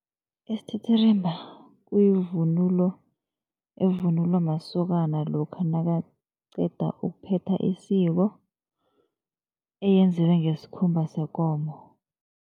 Isithithirimba kuyivunulo evunulwa masokana lokha nakaqeda ukuphetha isiko, eyenziwe ngesikhumba sekomo.